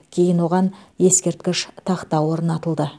кейін оған ескерткіш тақта орнатылды